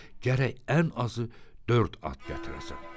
Gərək ən azı dörd at gətirəsən.